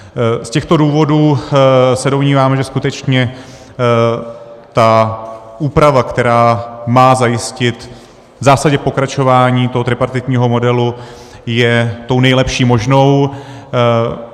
Z těchto důvodů se domníváme, že skutečně ta úprava, která má zajistit v zásadě pokračování toho tripartitního modelu, je tou nejlepší možnou.